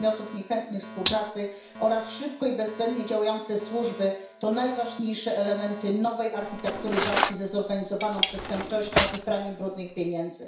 podmiotów niechętnych współpracy oraz szybko i bezwzględnie działające służby to najważniejsze elementy nowej architektury walki ze zorganizowaną przestępczością i praniem brudnych pieniędzy.